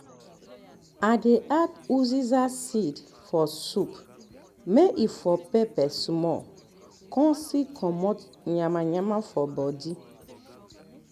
i dey add uziza seed um for soup may e for pepper small con still comot yanmayanma for body